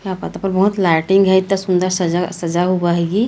क्या पता पर बहोत लाइटिंग है। इतना सुंदर सजा हुआ है ये--